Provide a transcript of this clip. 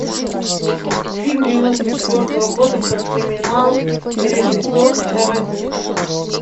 фильм девяносто четвертого года про криминал режиссер тарантино